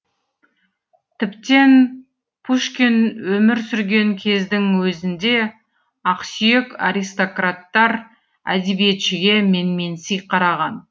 тіптен пушкин өмір сүрген кездің өзінде ақсүйек аристократтар әдебиетшіге менменси қараған